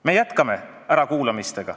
Me jätkame ärakuulamisi.